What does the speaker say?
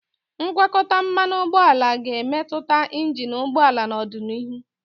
ngwakọta mmanụ ụgbọala ga-emetụta injin ụgbọ ala n'ọdịnihu.